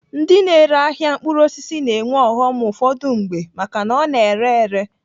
Ndi na-ere ahịa mkpụrụ osisi na-enwe ọghọm ụfọdụ mgbe maka na ọ na-ere ere.